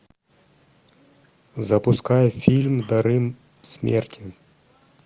запускай фильм дары смерти